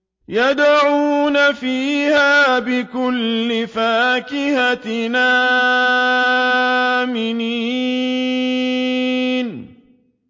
يَدْعُونَ فِيهَا بِكُلِّ فَاكِهَةٍ آمِنِينَ